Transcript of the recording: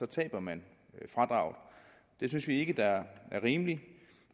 taber man fradraget vi synes ikke det er rimeligt